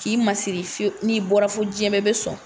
K'i masiri fiye n'i bɔra fo jiyɛn bɛɛ bɛ sɔn.